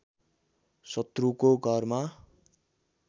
शत्रुको घरमा